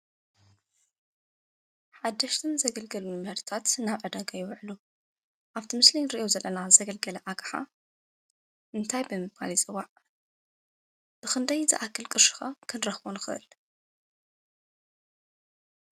ሓደሽትን ዘገልገሉን ምህርትታት ናብ ዕዳጋ ይውዕሉ ኣብቲ ምስሊ እንሪኦ ዘለና ዘገልገለ ኣቕሓ እንታይ ብምባል ይፅዋዕ? ብኽንደይ ዝኣክል ቅርሺ ኸ ክንረኽቦ ንኽእል?